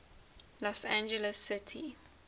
los angeles city